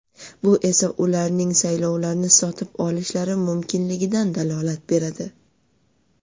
Bu esa ularning saylovlarni sotib olishlari mumkinligidan dalolat beradi.